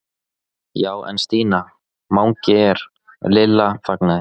Já en Stína, Mangi er. Lilla þagnaði.